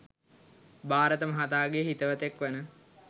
භාරත මහතාගේ හිතවතෙක්‌ වන